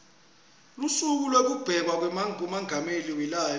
lusuku lwekubekwa kwamengameli welive